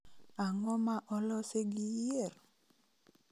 Ang�o ma olosi gi yier?